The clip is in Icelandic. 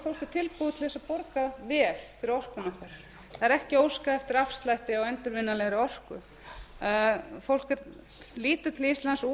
tilbúið til að borga vel fyrir orkuna okkar það er ekki óskað eftir afslætti á endurvinnanlegri orku fólk lítur til íslands út af því að